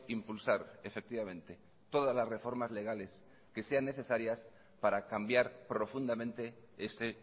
impulsar efectivamente todas las reformas legales que sean necesarias para cambiar profundamente este